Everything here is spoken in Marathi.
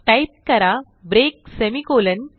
टाईप करा ब्रेक सेमिकोलॉन